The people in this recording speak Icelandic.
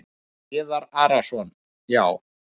Viðar Arason: Já.